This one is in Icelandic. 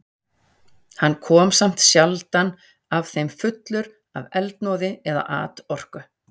Hann kom samt sjaldan af þeim fullur af eldmóði eða atorku.